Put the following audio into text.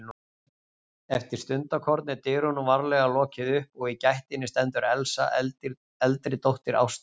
Eftir stundarkorn er dyrunum varlega lokið upp og í gættinni stendur Elsa, eldri dóttir Ástu.